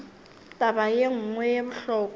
taba ye nngwe ye bohlokwa